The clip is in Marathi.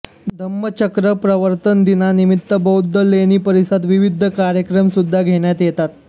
धम्मचक्र प्रवर्तन दिनानिमित्त बौद्ध लेणी परिसरात विविध कार्यक्रम सुद्धा घेण्यात येतात